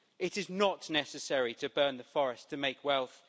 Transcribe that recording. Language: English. It is not necessary to burn the forest to make wealth